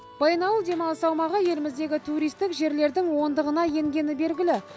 баянауыл демалыс аумағы еліміздегі туристік жерлердің ондығына енгені белгілі